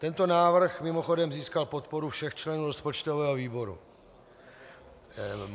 Tento návrh mimochodem získal podporu všech členů rozpočtového výboru.